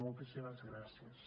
moltíssimes gràcies